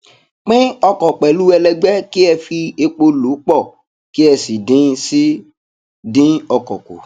pín ọkọ pẹlú ẹlẹgbẹ kí ẹ fi epo lò pọ kí ẹ sì dín sì dín ọkọ kù